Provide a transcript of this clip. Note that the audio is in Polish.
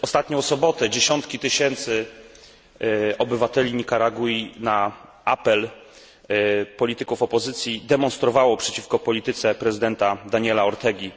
W ostatnią sobotę dziesiątki tysięcy obywateli Nikaragui na apel polityków opozycji demonstrowało przeciwko polityce prezydenta Daniela Ortegi.